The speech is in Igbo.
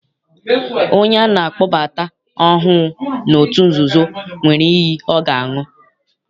Onye ana akpọbata ọhụụ n'otu nzuzo, nwere iyi ọ ga-aṅụ.